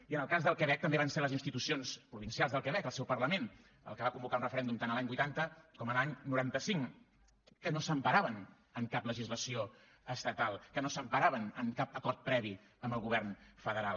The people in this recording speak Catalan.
i en el cas del quebec també van ser les institucions provincials del quebec el seu parlament el que va convocar un referèndum tant a l’any vuitanta com a l’any noranta cinc que no s’emparaven en cap legislació estatal que no s’emparaven en cap acord previ amb el govern federal